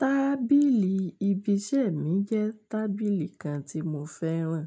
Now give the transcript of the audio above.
Tábìlì ibi iṣẹ́ mi jẹ́ tábìlì kan tí mo fẹ́ràn.